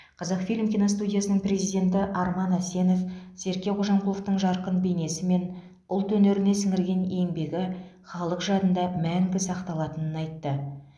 қазақфильм киностудиясының президенті арман әсенов серке қожамқұловтың жарқын бейнесі мен ұлт өнеріне сіңірген еңбегі халық жадында мәңгі сақталатынын айтты